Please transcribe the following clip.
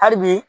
Hali bi